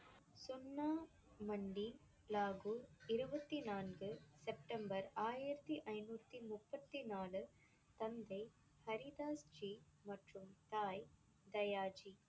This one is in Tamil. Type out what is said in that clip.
சுன்னா மண்டி, லாகூர், இருபத்தி நான்கு, செப்டம்பர், ஆயிரத்தி ஐந்நூத்தி முப்பத்தி நாலு, தந்தை ஹரி தாஸ் ஜி மற்றும் தாய் தயா ஜி.